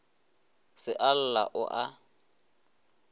se a lla o a